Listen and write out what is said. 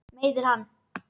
Meiðir hann.